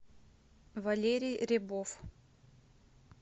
валерий ребов